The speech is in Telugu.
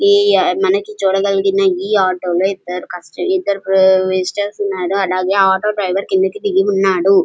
ఈ ఈ మనకి చూడకలిగిన ఈ ఆటో లో ఇద్దరు కస్టమర్స్ ఉన్నారు అలాగే ఆటో డ్రైవర్ కిందికి దిగి ఉన్నాడు --